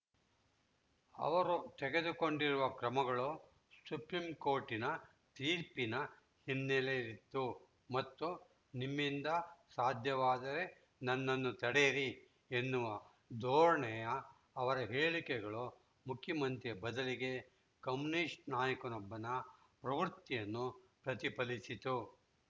ಅವರು ತೆಗೆದುಕೊಂಡಿರುವ ಕ್ರಮಗಳು ಸುಪ್ರೀಂಕೋರ್ಟಿನ ತೀರ್ಪಿನ ಹಿನ್ನೆಲೆಯಲ್ಲಿತ್ತು ಮತ್ತು ನಿಮ್ಮಿಂದ ಸಾಧ್ಯವಾದರೆ ನನ್ನನ್ನು ತಡೆಯಿರಿ ಎನ್ನುವ ಧೋರಣೆಯ ಅವರ ಹೇಳಿಕೆಗಳು ಮುಖ್ಯಮಂತ್ರಿಯ ಬದಲಿಗೆ ಕಮ್ಯುನಿಸ್ಟ್‌ ನಾಯಕನೊಬ್ಬನ ಪ್ರವೃತ್ತಿಯನ್ನು ಪ್ರತಿಫಲಿಸಿತು